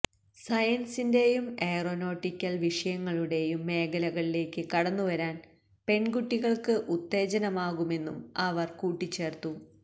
സയന്സിന്റെയും aeronautical വിഷയങ്ങളുടെയും മേഖലകളിലേക്ക് കടന്നുവരാന് പെണ്കുട്ടികള്ക്ക് ഉത്തേജനമാകുമെന്നും അവര് കൂട്ടിച്ചേര്ത്തു